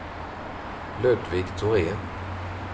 Ludvig Thorén